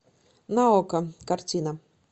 на окко картина